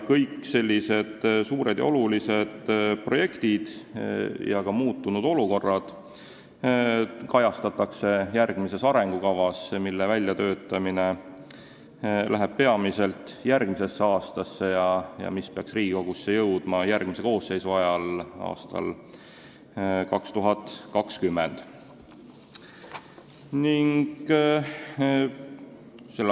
Kõik sellised suured ja olulised projektid ja ka muutunud olukorrad kajastatakse järgmises arengukavas, mille väljatöötamine jääb peamiselt järgmisesse aastasse ja mis peaks Riigikogusse jõudma järgmise koosseisu ajal aastal 2020.